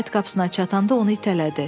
Həyət qapısına çatanda onu itələdi.